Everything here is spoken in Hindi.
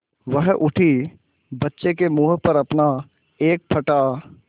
वह उठी बच्चे के मुँह पर अपना एक फटा